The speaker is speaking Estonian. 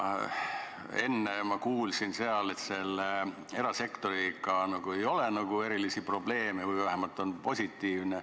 Enne ma kuulsin, et erasektoriga ei ole erilisi probleeme või vähemalt on seis positiivne.